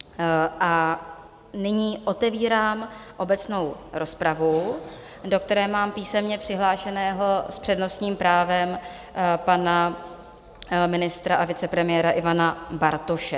A nyní otevírám obecnou rozpravu, do které mám písemně přihlášeného s přednostním právem pana ministra a vicepremiéra Ivana Bartoše.